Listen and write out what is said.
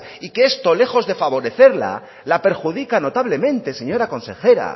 y que esto lejos de favorecerla la perjudica notablemente señora consejera